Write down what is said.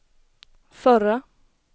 förra